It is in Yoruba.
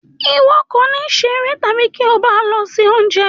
Iwọ kò ní ṣeré tabi ti o ba lọ se oúnjẹ.